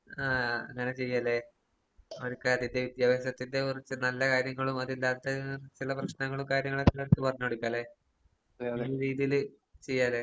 ആഹ് അങ്ങനെ ചെയ്യാ അല്ലെ. വിദ്യാഭാസത്തിന്റെ കൊറച്ച് നല്ല കാര്യങ്ങളും അത് ഇല്ലാത്തത് ചില പ്രശ്നങ്ങളും കാര്യങ്ങളൊക്കെ നിങ്ങളുടെ അടുത്ത് പറഞ്ഞ് കൊടുക്കാ അല്ലെ? ഈയൊരു രീതിയില് ചെയ്യാ അല്ലെ?